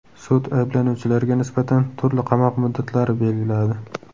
Sud ayblanuvchilarga nisbatan turli qamoq muddatlari belgiladi.